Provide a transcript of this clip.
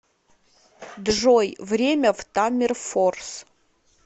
джой время в таммерфорс